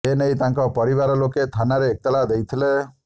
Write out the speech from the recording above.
ଏ ନେଇ ତାଙ୍କ ପରିବାର ଲୋକେ ଥାନାରେ ଏତଲା ଦେଇଥିଲେ